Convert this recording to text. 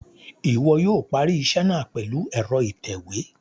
Iwọ yóò parí iṣẹ náà pèlú ẹrọ itẹwe